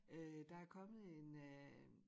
Øh der er kommet en øh